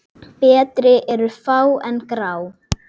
Betri eru fá en grá?